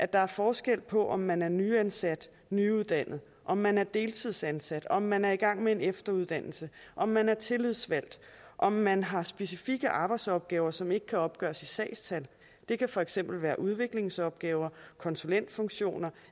der er forskel på om man er nyansat nyuddannet om man er deltidsansat om man er i gang med en efteruddannelse om man er tillidsvalgt om man har specifikke arbejdsopgaver som ikke kan opgøres i sagstal det kan for eksempel være udviklingsopgaver konsulentfunktioner